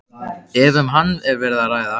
ef um hann hefur verið að ræða.